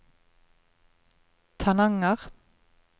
Tananger